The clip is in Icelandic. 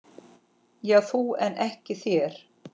Já þú en ekki þér!